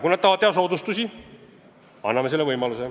Kui nad tahavad teha soodustusi, anname selle võimaluse.